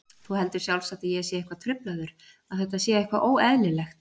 Þú heldur sjálfsagt að ég sé eitthvað truflaður, að þetta sé eitthvað óeðlilegt.